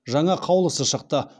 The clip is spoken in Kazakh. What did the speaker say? жаңа қаулысы шықты